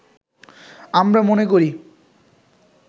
“আমরা মনে করি